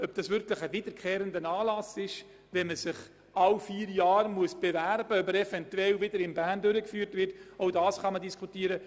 Ob es sich wirklich um einen wiederkehrenden Anlass handelt, wenn man sich alle vier Jahre dafür bewerben muss, damit er wieder in Bern durchgeführt wird, ist ebenfalls diskutabel.